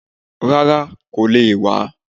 Rárá, kò le è wá